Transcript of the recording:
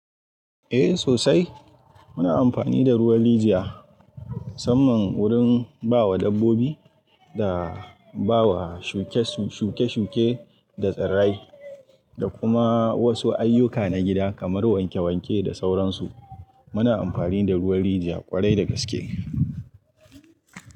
Eh sosai. Muna amfani da ruwan rijiya musamman wurin bawa dabbobi da bawa shuke, shuke-shuke da tsirrai da kuma wasu ayyuka na gida kamar wanke-wanke da sauransu. Muna amfani da ruwan rijiya ƙwarai da gaske.